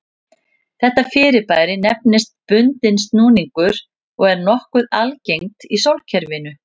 Þetta fyrirbæri nefnist bundinn snúningur og er nokkuð algengt í sólkerfinu.